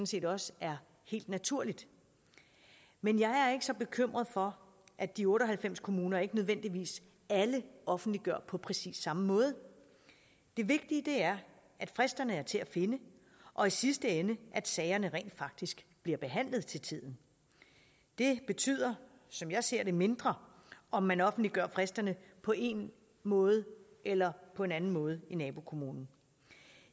set også er helt naturligt men jeg er ikke så bekymret for at de otte og halvfems kommuner ikke nødvendigvis alle offentliggør på præcis samme måde det vigtige er at fristerne er til at finde og i sidste ende at sagerne rent faktisk bliver behandlet til tiden det betyder som jeg ser det mindre om man offentliggør fristerne på én måde eller på en anden måde i nabokommunen